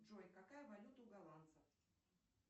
джой какая валюта у голландцев